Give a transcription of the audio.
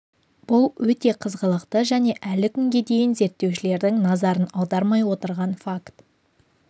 бұл өте қызғылықты және әлі күнге дейін зерттеушілердің назарын аудармай отырған факт